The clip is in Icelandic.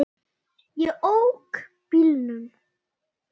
Ég ók bílnum.